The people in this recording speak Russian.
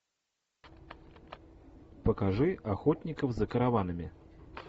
покажи охотников за караванами